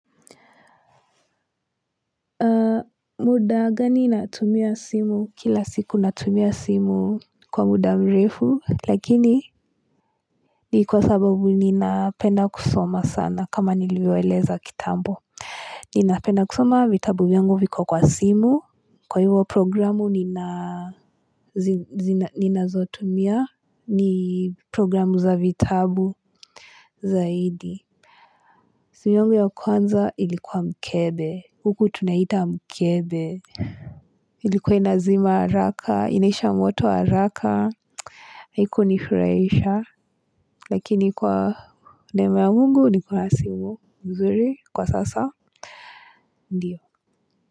Muda gani natumia simu? Kila siku natumia simu kwa muda mrefu lakini ni kwa sababu ninapenda kusoma sana kama niliwaeleza kitambo ninapenda kusoma vitabu yangu viko kwa simu kwa hivyo programu nina ninazotumia ni programu za vitabu zaidi simu yungu ya kwanza ilikuwa mkebe, huku tunaita mkebe. Ilikuwa inazima haraka, inaisha moto haraka, haikunifurahisha. Lakini kwa damu ya Mungu niko na simu mzuri kwa sasa, ndio.